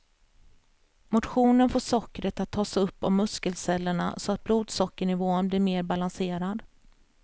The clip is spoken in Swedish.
Motionen får sockret att tas upp av muskelcellerna så att blodsockernivån blir mer balanserad.